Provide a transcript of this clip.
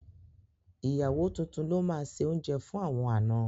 Ìyàwó tuntun ló máa se oúnjẹ fún àwọn àna.